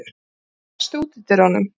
Refur, læstu útidyrunum.